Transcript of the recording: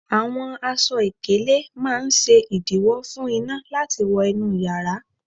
Àwọn aṣọ ìkélé máa ń ṣe ìdiwọ̀ fún iná láti wó inú yara